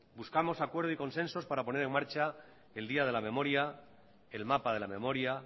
buscamos acuerdos y consensos para poner en marcha el día de la memoria el mapa de la memoria